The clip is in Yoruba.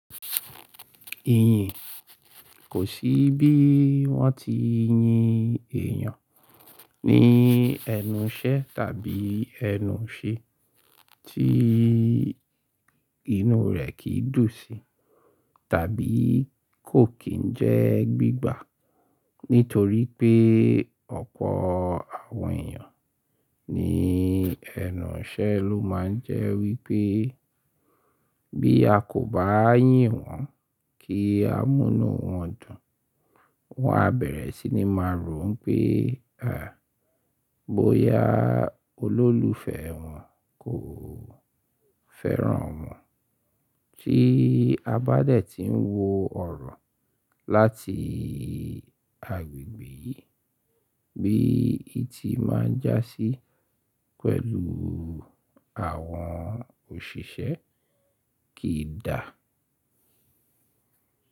Ìyìn kò sí bí wọ́n ti yin èèyàn ní ẹnu iṣẹ tàbí ẹnu iṣe tí inú rẹ̀ kì í dùn sí tàbí kò kín jẹ́ gbígbà. Nítorí pé ọ̀pọ̀ àwọn èèyàn ní ẹnu ṣẹ ló máa ń jẹ́ wípé bí a kò bá yín wọn kí amúnú wọn dùn, wọn á bẹ̀rẹ̀ sí ní máa rò wi pé bóyá olólùfẹ́ wọn kò fẹ́ràn wọn tí a bá dẹ̀ tí ń wò ọ̀rọ̀ láti agbègbè yìí bí i ti máa ń jásí pẹ̀lú àwọn òṣìṣẹ́ kì í dà.